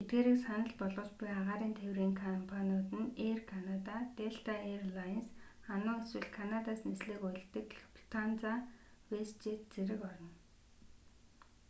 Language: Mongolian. эдгээрийг санал болгож буй агаарын тээврийн компаниуд нь эйр канада делта эйр лайнс ану эсвэл канадаас нислэг үйлддэг луфтанза вэстжэт зэрэг орно